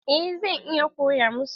Eh zan iya koya masu.